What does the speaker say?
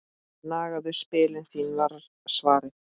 Nagaðu spilin þín var svarið.